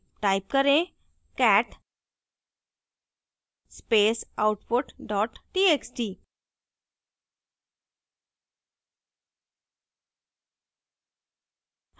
type करें: cat space output dot txt